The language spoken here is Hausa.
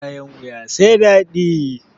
Bayan wuya sai dadi